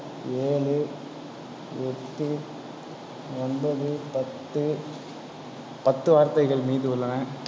ஏழு, எட்டு, ஒன்பது, பத்து, பத்து வார்த்தைகள் மீதி உள்ளன.